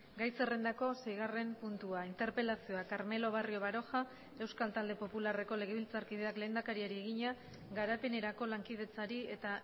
gai zerrendako seigarren puntua interpelazioa carmelo barrio baroja euskal talde popularreko legebiltzarkideak lehendakariari egina garapenerako lankidetzari eta